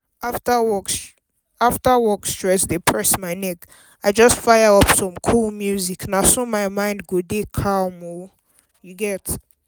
after work stress dey press my neck i just fire up some cool music na so my mind go calm down oo. You get